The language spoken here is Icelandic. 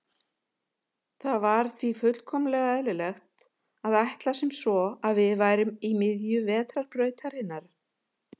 Það var því fullkomlega eðlilegt að ætla sem svo að við værum í miðju Vetrarbrautarinnar.